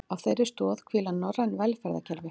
Á þeirri stoð hvíla norræn velferðarkerfi